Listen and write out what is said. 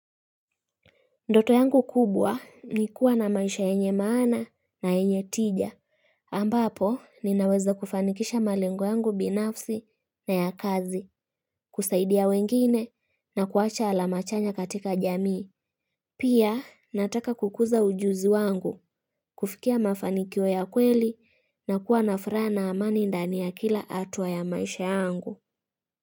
Ndoto yangu kubwa ni kuwa na maisha yenye maana na yenye tija. Ambapo, ninaweza kufanikisha malengo yangu binafsi na ya kazi, kusaidia wengine na kuacha alama chanya katika jamii. Pia, nataka kukuza ujuzi wangu, kufikia mafanikio ya kweli na kuwa na fraa na amani ndani ya kila atua ya maisha yangu.